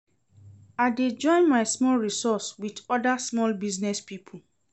I dey join my small resource wit oda small business pipo.